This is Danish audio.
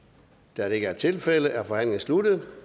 da det ikke er tilfældet er forhandlingen sluttet